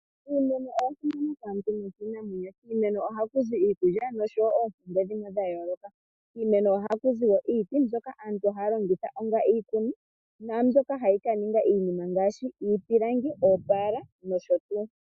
Iimeno oya simana kaantu nokiinamwenyo. Kiimeno ohaku zi iikulya noshowo oompumbwe dhimwe dha yooloka. Kiimeno ohaku zi iiti mbyoka aantu haya longitha onga iikuni naa mbyoka hayi ka ninga iinima ngaashi iipilangi, oopaala nosho tuu.